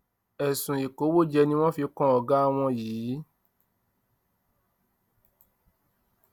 ẹsùn ìkówójẹ ni wọn fi kan ọgá wọn yìí